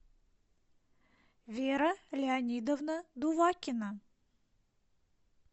вера леонидовна дувакина